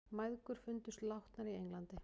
Mæðgur fundust látnar í Englandi